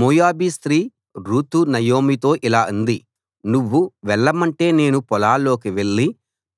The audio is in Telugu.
మోయాబీ స్త్రీ రూతు నయోమితో ఇలా అంది నువ్వు వెళ్ళమంటే నేను పొలాల్లోకి వెళ్ళి